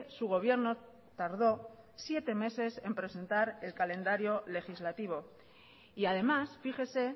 su gobierno tardó siete meses en presentar el calendario legislativo y además fíjese